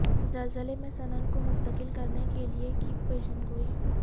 زلزلے میں سنن کو منتقل کرنے کے لئے کی پیشن گوئی